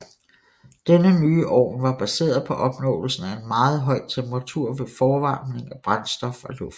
Denne nye ovn var baseret på opnåelsen af en meget høj temperatur ved forvarmning af brændstof og luft